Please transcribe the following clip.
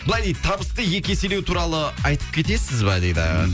былай дейді табысты екі еселеу туралы айтып кетесіз ба дейді